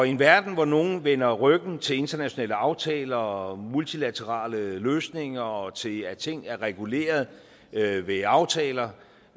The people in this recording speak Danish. i en verden hvor nogle vender ryggen til internationale aftaler og multilaterale løsninger og til at ting er reguleret ved ved aftaler